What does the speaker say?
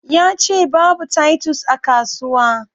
Yace babu titus a kasuwa